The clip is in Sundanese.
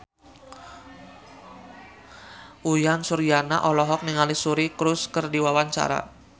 Uyan Suryana olohok ningali Suri Cruise keur diwawancara